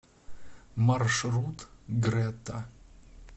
маршрут грэта